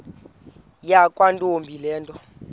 yakwantombi le nto